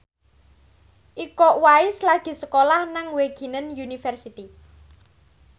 Iko Uwais lagi sekolah nang Wageningen University